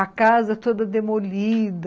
A casa toda demolida.